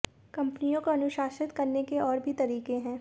कंपनियों को अनुशासित करने के और भी तरीके हैं